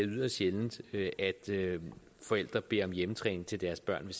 yderst sjældent at forældre beder om hjemmetræning til deres børn hvis